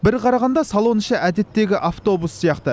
бір қарағанда салон іші әдеттегі автобус сияқты